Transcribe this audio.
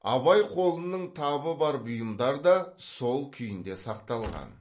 абай қолының табы бар бұйымдар да сол күйінде сақталған